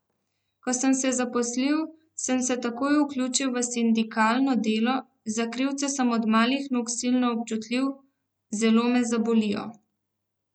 Ko sem se zaposlil, sem se takoj vključil v sindikalno delo, za krivice sem od malih nog silno občutljiv, zelo me zabolijo.